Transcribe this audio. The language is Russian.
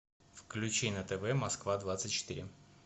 включи на тв москва двадцать четыре